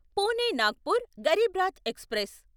Pune Nagpur Garib Rath express